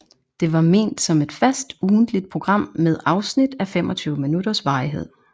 Det var ment som et fast ugentligt program med afsnit af 25 minutters varighed